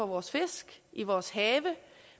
vores fisk i vores have